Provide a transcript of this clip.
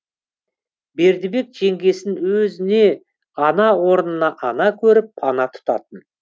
бердібек жеңгесін өзіне ана орнына ана көріп пана тұтатын